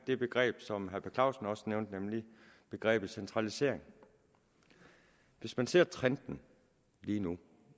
det begreb som herre per clausen også nævnte nemlig begrebet centralisering hvis man ser på trenden lige nu